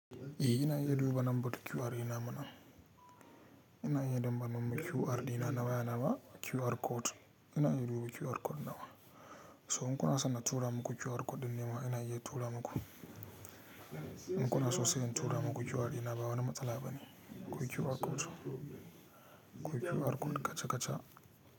Iyi ina iya duba lambar QR ina mana. Ina iya damba lambar QR dina nawa ya na ba QR code. Ina iya dubu QR code nawa. To in kuna san na tura muku QR code nema ina iya tura maku. In kuna so sai in tura maku QR ina ba wani matsala bane. Kwai QR code so. Kwai QR code kacha kacha.